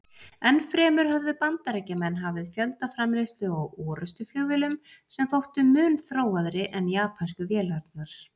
Enn fremur höfðu Bandaríkjamenn hafið fjöldaframleiðslu á orrustuflugvélum sem þóttu mun þróaðri en japönsku vélarnar.